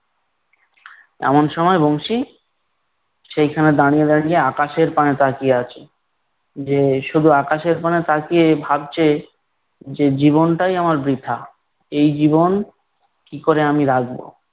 এমন সময় বংশী, সেইখানে দাঁড়িয়ে দাঁড়িয়ে আকাশের পানে তাকিয়ে আছে। যে শুধু আকাশের পানে তাকিয়ে ভাবছে, যে জীবনটাই আমার বৃথা। এই জীবন কী করে আমি রাখব!